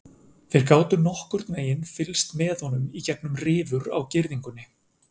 Þeir gátu nokkurn veginn fylgst með honum gegnum rifur á girðingunni.